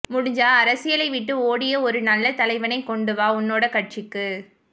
முடிஞ்ச அரசியலை விட்டு ஓடிரு ஒரு நல்ல தலைவனை கொண்டுவா உன்னோட கட்சிக்கு